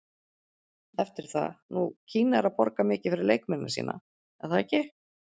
Eftir það, nú Kína er að borga mikið fyrir leikmennina sína, er það ekki?